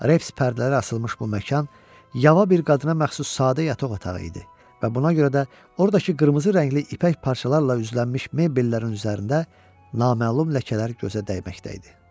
Reps pərdələri asılmış bu məkan yava bir qadına məxsus sadə yataq otağı idi və buna görə də oradakı qırmızı rəngli ipək parçalarla üzlənmiş mebellərin üzərində naməlum ləkələr gözə dəyməkdə idi.